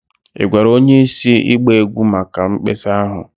Ị gwara onye isi ịgba egwu maka mkpesa ahụ?